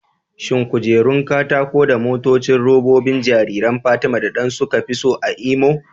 Shin kujerun katako da motocin robobi jariran Fatima da Dan suka fi so a Imo?